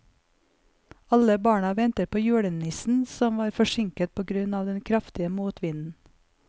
Alle barna ventet på julenissen, som var forsinket på grunn av den kraftige motvinden.